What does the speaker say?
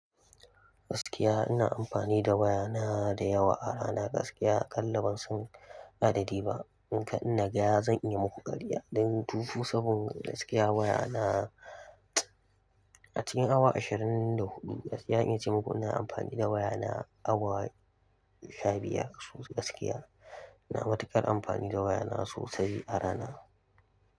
Gaskiya ina amfani da wayana dayawa a rana. Gaskiya aƙalla bansan adadi ba. Nikan ina ga zan iya muku ƙarya don 24/7, gaskiya wayana acikin awa ashirin da huɗu. Gaskiya zan iya cemuku ina amfani da wayana awa shabiyar. Gaskiya ina matuƙar amfani da waya na sosai a rana.